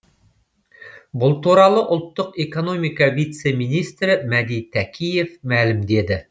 бұл туралы ұлттық экономика вице министрі мәди тәкиев мәлімдеді